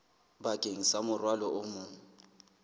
bakeng sa morwalo o mong